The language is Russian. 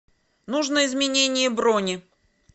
нужно изменение брони